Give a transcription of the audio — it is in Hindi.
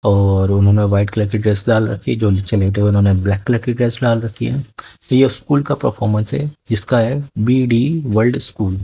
और उन्होंने व्हाइट कलर की ड्रेस डाल रखी जो नीचे लेटे हुए उन्होंने ब्लैक कलर की ड्रेस डाल रखी है तो ये स्कूल का परफॉर्मेंस है इसका है बी_डी वर्ल्ड स्कूल ।